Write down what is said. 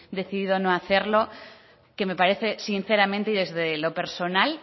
decidido no hacerlo que me parece sinceramente y desde lo personal